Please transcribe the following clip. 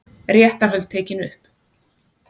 Réttarhöld tekin upp